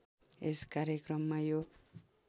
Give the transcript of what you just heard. यस कार्यक्रममा यो